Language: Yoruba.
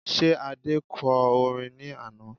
Ṣé Adé kọ orin ní àná?